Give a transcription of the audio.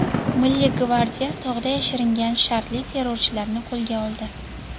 Milliy gvardiya tog‘da yashiringan shartli terrorchilarni qo‘lga oldi .